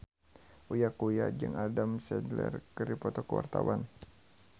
Uya Kuya jeung Adam Sandler keur dipoto ku wartawan